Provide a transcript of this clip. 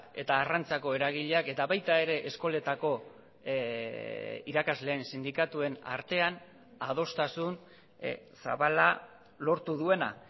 eta arrantzako eragileak eta baita ere eskoletako irakasleen sindikatuen artean adostasun zabala lortu duena